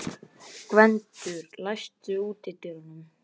Gvöndur, læstu útidyrunum.